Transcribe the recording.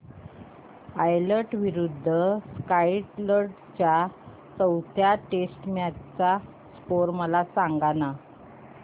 Ireland विरूद्ध Scotland च्या चौथ्या टेस्ट मॅच चा स्कोर मला सांगना